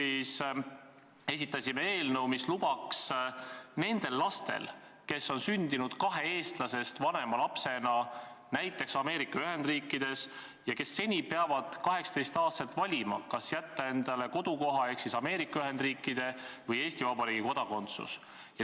Me esitasime eelnõu, mis puudutas ka neid lapsi, kes on sündinud kahe eestlasest vanema lapsena näiteks Ameerika Ühendriikides ja kes seni peavad 18-aastaselt valima, kas jätta endale kodukoha ehk siis Ameerika Ühendriikide või Eesti Vabariigi kodakondsus.